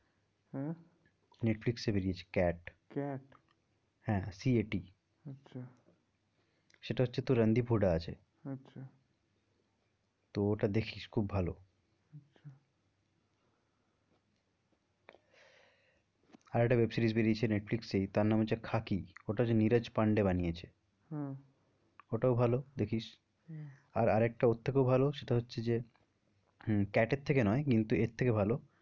আর একটা web series বেরিয়েছে Netflix এই তার নাম হচ্ছে খাকি ওটা হচ্ছে নিরাজ পান্ডে বানিয়েছে হম ওটাও ভালো দেখিস আর, আর একটা ওর থেকেও ভালো সেটা হচ্ছে যে উম cat এর থেকে নয় কিন্তু এর থেকে ভালো